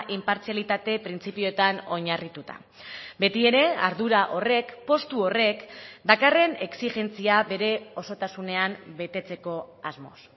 inpartzialitate printzipioetan oinarrituta beti ere ardura horrek postu horrek dakarren exijentzia bere osotasunean betetzeko asmoz